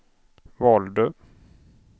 valde